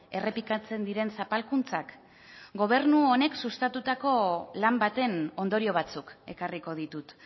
errepikatzen diren zapalkuntzak gobernu honek sustatutako lan baten ondorio batzuk ekarriko ditut